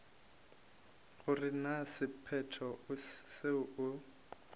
gore na sephetho seo o